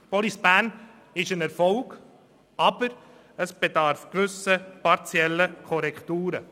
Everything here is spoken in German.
Police Bern ist ein Erfolg, es bedarf aber gewisser partieller Korrekturen.